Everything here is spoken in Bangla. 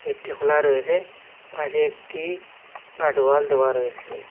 গেটটি খোলা রয়েসে পাশে একটি গার্ডওয়াল দেওয়া রয়েসে।